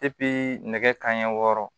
nɛgɛ kanɲɛ wɔɔrɔ